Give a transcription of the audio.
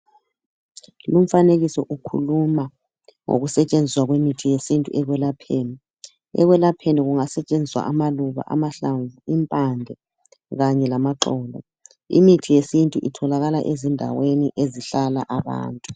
Lumfanekiso ukhuluma ngokusetshenziswa kwemithi yesintu ekwelapheni , ekwelapheni kungasetshenziswa amaluba amahlamvu impande kanye lamaxolo imithi yesintu itholakala ezindaweni ezihlala abantu .